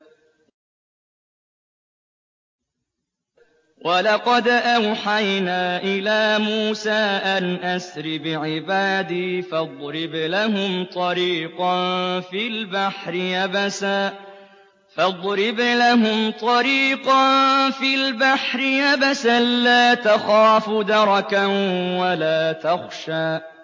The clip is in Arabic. وَلَقَدْ أَوْحَيْنَا إِلَىٰ مُوسَىٰ أَنْ أَسْرِ بِعِبَادِي فَاضْرِبْ لَهُمْ طَرِيقًا فِي الْبَحْرِ يَبَسًا لَّا تَخَافُ دَرَكًا وَلَا تَخْشَىٰ